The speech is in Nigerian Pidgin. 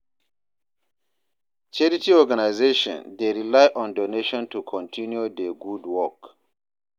Charity organizations dey rely on donations to continue dia gud wok.